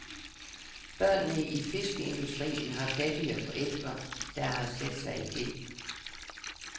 Børnene i fiskeindustrien har fattige forældre, der har sat sig i gæld.